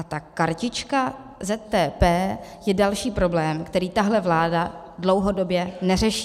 A ta kartička ZTP je další problém, který tahle vláda dlouhodobě neřeší.